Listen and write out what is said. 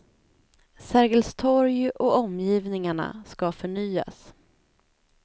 Sergels torg och omgivningarna ska förnyas.